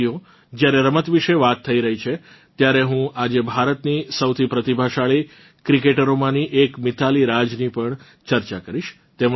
સાથઈઓ જ્યારે રમત વિશે વાત થઇ રહી છે ત્યારે હું આજે ભારતની સૌથી પ્રતિભાશાળી ક્રિકેટરોમાની એક મિતાલી રાજની ચર્ચા કરીશ